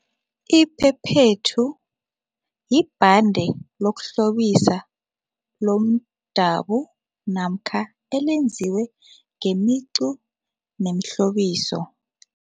Iphephethu libhande yokuhlobisa lomdabu namkha elenziwe ngemicu nemihlobiso.